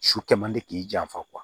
Su kɛ man di k'i janfa